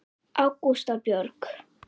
Ágústa Björg.